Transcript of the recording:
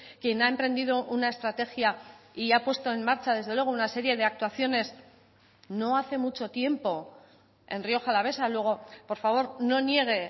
quien ha emprendido una estrategia y ha puesto en marcha desde luego una serie de actuaciones no hace mucho tiempo en rioja alavesa luego por favor no niegue